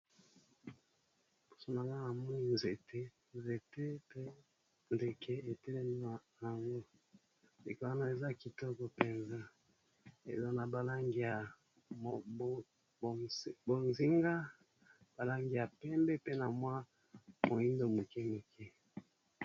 Liboso na nga namoni nzete ! nzete pe ndeke etelemi na yango likolo na eza kitoko mpenza ezo na ba langi ya bozinga, ba langi ya pembe , pe na mwa moyindo moke.